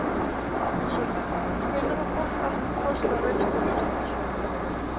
Sunna: Hvenær á fólk almennt kost á reynslulausn í svona málum?